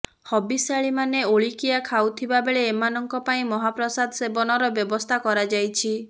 ହବିଷ୍ୟାଳିମାନେ ଓଳିକିଆ ଖାଉଥିବା ବେଳେ ଏମାନଙ୍କ ପାଇଁ ମହାପ୍ରସାଦ ସେବନର ବ୍ୟବସ୍ଥା କରାଯାଇଛି